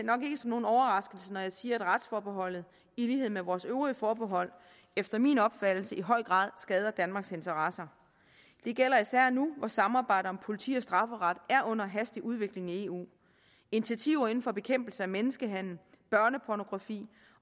nok ikke som nogen overraskelse når jeg siger at retsforbeholdet i lighed med vores øvrige forbehold efter min opfattelse i høj grad skader danmarks interesser det gælder især nu hvor samarbejdet om politi og strafferet er under hastig udvikling i eu initiativer inden for bekæmpelse af menneskehandel børnepornografi